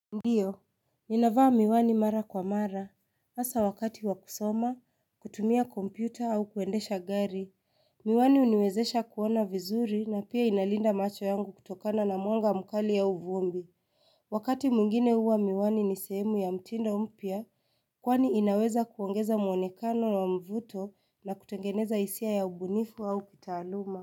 Ndiyo, ninavaa miwani mara kwa mara, hasa wakati wa kusoma, kutumia kompyuta au kuendesha gari, miwani huniwezesha kuona vizuri na pia inalinda macho yangu kutokana na mwanga mkali au vumbi Wakati mwingine huwa miwani ni sehemu ya mtindo mpya, kwani inaweza kuongeza muonekano na mvuto na kutengeneza hisia ya ubunifu au kitaaluma.